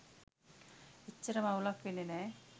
එච්චරම අවුලක් වෙන්නෙ නෑ.